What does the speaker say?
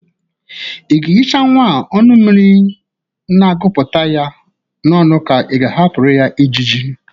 Ị ga-ehicha nwa a ọnụ mmiri na-agụpụta ya n'ọnụ ka ị ga-ahapụrụ ya ịjịjị?